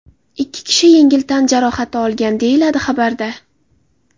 Ikki kishi yengil tan jarohati olgan”, deyiladi xabarda.